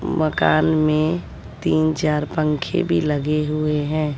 मकान में तीन चार पंखे भी लगे हुए हैं।